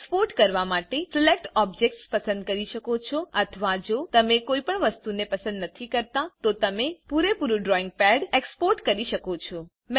export કરવા માટે select objects પસંદ કરી શકો છો અથવા જો તમે કોઈ પણ વસ્તુ ને પસંદ નથી કરતા તો તમે પૂરે પૂરું ડ્રોઈંગ પેડ એક્સપોર્ટ કરી શકો છો